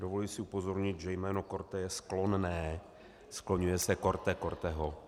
Dovoluji si upozornit, že jméno Korte je sklonné, skloňuje se Korte, Korteho.